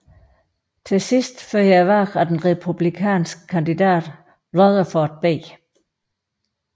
Til sidst førte valget af den republikanske kandidat Rutherford B